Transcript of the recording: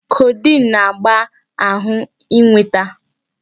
Codeine na-agba ahụ ịnweta.